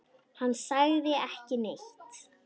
Hann sagði ekki neitt.